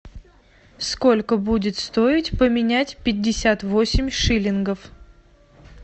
сколько будет стоить поменять пятьдесят восемь шиллингов